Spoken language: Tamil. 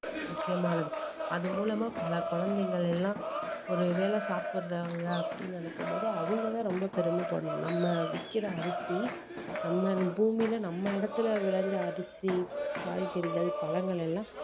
முக்கியமானது அது மூலமா பல குழந்தைங்கல்லாம் ஒரு வேளை சாப்பிடுறாங்க அப்படீன்னு நினைக்கும் போதே அவங்க தான் ரொம்ப பெருமை படணும் நம்ம விக்கிற அரிசி நம்ம பூமியில நம்ம இடத்துல விளைஞ்ச அரிசி, காய்கறிகள், பழங்கள் எல்லாம்